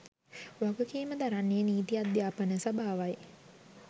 වගකීම දරන්නේ නීති අධ්‍යාපන සභාවයි.